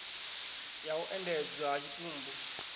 ya u endedzwa ha tshitumbu